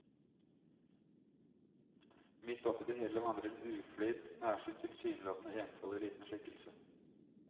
Midt oppe i det hele vandrer en uflidd, nærsynt tilsynelatende enfoldig liten skikkelse.